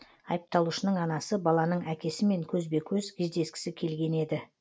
айыпталушының анасы баланың әкесімен көзбе көз кездескісі келген еді